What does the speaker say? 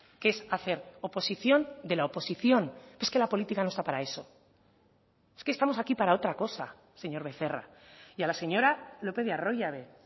que es hacer oposición de la oposición es que la política no está para eso es que estamos aquí para otra cosa señor becerra y a la señora lópez de arroyabe